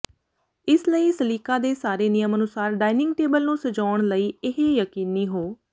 ਇਸ ਲਈ ਸਲੀਕਾ ਦੇ ਸਾਰੇ ਨਿਯਮ ਅਨੁਸਾਰ ਡਾਇਨਿੰਗ ਟੇਬਲ ਨੂੰ ਸਜਾਉਣ ਲਈ ਇਹ ਯਕੀਨੀ ਹੋ